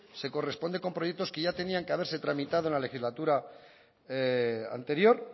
se corresponde con proyectos que ya se tenían que haberse tramitado en la legislatura anterior